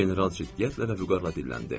General ciddiyətlə və vüqarla dinləndi.